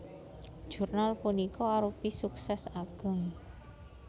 Jurnal punika arupi suksès ageng